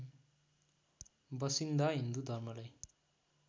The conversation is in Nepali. बसिन्दा हिन्दु धर्मलाई